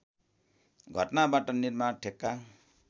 घटनाबाट निर्माण ठेक्का